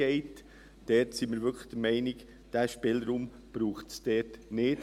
Da sind wir wirklich der Meinung, diesen Spielraum brauche es dort nicht.